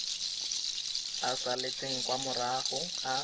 a salatseng kwa morago a